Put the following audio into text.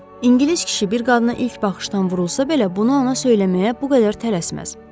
İngilis kişi bir qadına ilk baxışdan vurulsa belə, bunu ona söyləməyə bu qədər tələsməz.